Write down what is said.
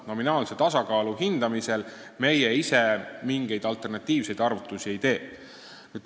Nominaalse tasakaalu hindamisel meie ise mingeid alternatiivseid arvutusi ei tee.